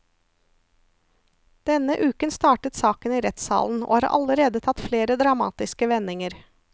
Denne uken startet saken i rettssalen, og har allerede tatt flere dramatiske vendinger.